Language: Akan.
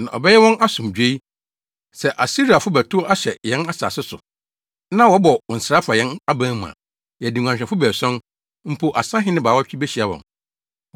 Na ɔbɛyɛ wɔn asomdwoe. Sɛ Asiriafo bɛtow ahyɛ yɛn asase so, na wɔbɔ nsra fa yɛn aban mu a, yɛde nguanhwɛfo baason, mpo asahene baawɔtwe behyia wɔn.